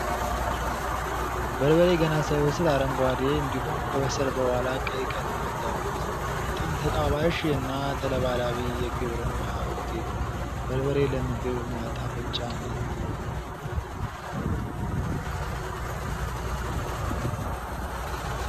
በርበሬ ገና ሳይበስል አረንጓዴ እንዲሁም ከበሰለ በኋላ ቀይ ቀለማት ያሉት በጣም ተጣባሽ እና ተለባላቢ የግብርና ውጤት ነው። በርበሬ ለምግብ ማጣፈጫነት ይውላል።